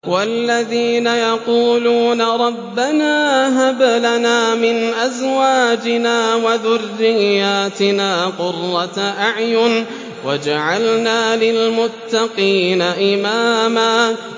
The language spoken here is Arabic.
وَالَّذِينَ يَقُولُونَ رَبَّنَا هَبْ لَنَا مِنْ أَزْوَاجِنَا وَذُرِّيَّاتِنَا قُرَّةَ أَعْيُنٍ وَاجْعَلْنَا لِلْمُتَّقِينَ إِمَامًا